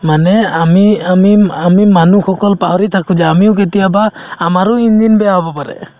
মানে আমি আমি ম্ম আমি মানুহসকল পাহৰি থাকো যে আমিও কেতিয়াবা আমাৰো engine বেয়া হব পাৰে